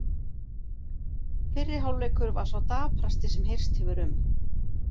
Fyrri hálfleikur var sá daprasti sem heyrst hefur um.